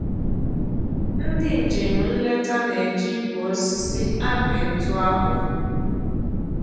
Ndị njem nleta na-eji igw osisi apị ntụ akpụ